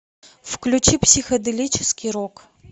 включи психоделический рок